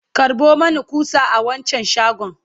karɓo Mani ƙusa a wancan shagon!